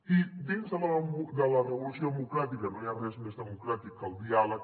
i dins de la revolució democràtica no hi ha res més democràtic que el diàleg